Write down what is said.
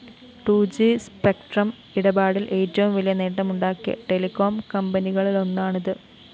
two G spectrum ഇടപാടില്‍ ഏറ്റവും വലിയ നേട്ടമുണ്ടാക്കിയ ടെലികോം കമ്പനികളിലൊന്നാണിത്‌